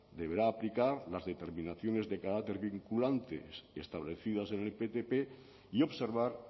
deberá aplicar las determinaciones de carácter vinculante establecidas en el ptp y observar